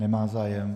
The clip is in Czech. Nemá zájem.